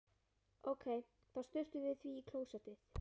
Ókei, þá sturtum við því í klósettið.